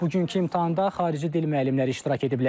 Bugünkü imtahanda xarici dil müəllimləri iştirak ediblər.